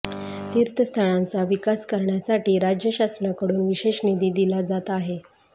तीर्थस्थळांचा विकास करण्यासाठी राज्य शासनाकडून विशेष निधी दिला जात आहे